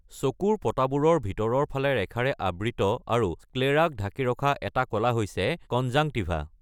চকুৰ পতাবোৰৰ ভিতৰৰ ফালে ৰেখাৰে আবৃত আৰু স্ক্লেৰাক ঢাকি ৰখা এটা কলা হৈছে কনজাংটিভা।